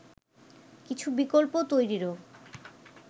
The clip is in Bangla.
কিছু বিকল্প তৈরিরও